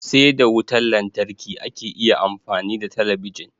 Sai da wutan lantarki ake iya amfani da talabijin